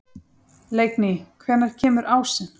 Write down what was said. Leikný, hvenær kemur ásinn?